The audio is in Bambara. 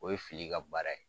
O ye fili ka baara ye.